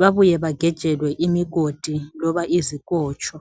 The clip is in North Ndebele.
babuye bagejelwe imigodi loba izikotsho.